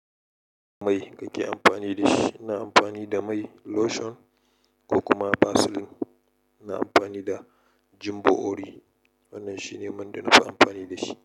Mai kake amfani da shi? Ina amfani da mai lotion ko kuma Vaseline. Ina amfani da jumbo ori. Wannan shine man da nafi amfani da shi.